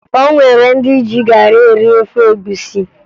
O nwere ndị ji garị eri ofe egwusi